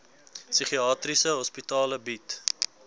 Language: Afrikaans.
psigiatriese hospitale bied